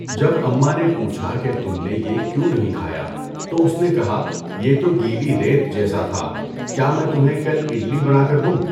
جب امّاں نے پوچھا کہ تم نے یہ کیوں نہیں کھایا، تو اس نے کہا، یہ تو گیلی ریت جیسا تھا، کیا میں تمہیں کل اِڈلی بنا کر دوں؟